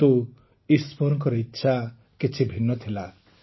କିନ୍ତୁ ଈଶ୍ୱରଙ୍କ ଇଚ୍ଛା କିଛି ଭିନ୍ନ ଥିଲା